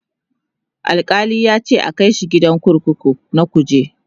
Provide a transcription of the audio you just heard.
Alkali yace a Kai shi gidan kurkuku na kuje